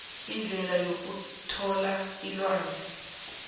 indlela yokuthola ilwazi